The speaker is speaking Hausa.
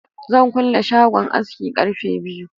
Zan kule shagon aski ƙarfe biyu